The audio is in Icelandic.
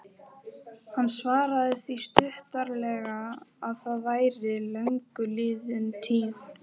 Hann svaraði því stuttaralega að það væri löngu liðin tíð.